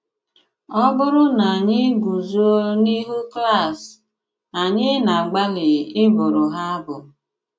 Ọ̀ bụ̀rụ̀ na ànyị̀ gùzò n’íhù klàs, ànyị̀ na-àgbàlì ị bụ̀rụ̀ ha abụ.